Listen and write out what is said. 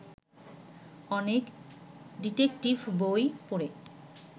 অনেক ডিটেকটিভ বই পড়ে